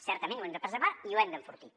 certament ho hem de preservar i ho hem d’enfortir